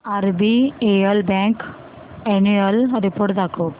RBL bank annual report दाखव